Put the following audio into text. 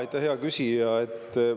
Aitäh, hea küsija!